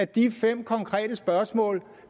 de fem konkrete spørgsmål